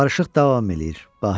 Barışıq davam eləyir, Bahirə.